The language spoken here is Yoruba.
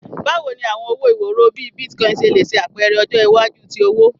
Bawo ni awọn owo iworo bii Bitcoin ṣe le ṣe apẹrẹ ọjọ iwaju ti owo?